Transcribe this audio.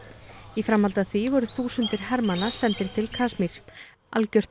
í framhaldi af því voru þúsundir hermanna sendir til Kasmír algjört